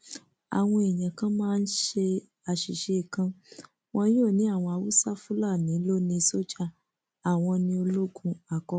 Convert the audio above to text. àwọn èèyàn kan máa ń ṣe àṣìṣe kan wọn yóò ní àwọn haúsáfúnálì ló ní sójà àwọn ní ológun àkọkọ